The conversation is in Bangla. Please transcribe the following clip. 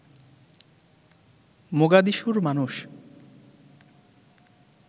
মোগাদিশুর মানুষ